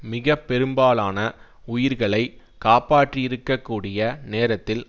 மிக பெரும்பாலான உயிர்களை காப்பாற்றியிருக்க கூடிய நேரத்தில்